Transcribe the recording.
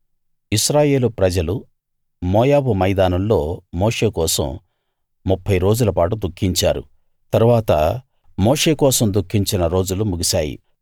ఇశ్రాయేలు ప్రజలు మోయాబు మైదానాల్లో మోషే కోసం 30 రోజులపాటు దుఃఖించారు తరువాత మోషే కోసం దుఃఖించిన రోజులు ముగిసాయి